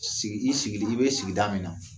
Sigi i sigilen i bɛ sigida min na